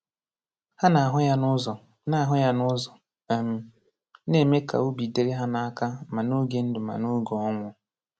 Hà na-ahụ ya n’ụzọ na-ahụ ya n’ụzọ um na-eme ka obi dịrị ha n’aka ma n’oge ndụ ma n’oge ọnwụ.